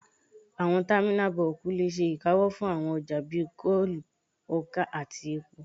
Àwọn támínà bọ́ọ̀kù lè ṣe ìkáwọ́ fún àwọn ọjà bíi kóòlù, ọkà àti epo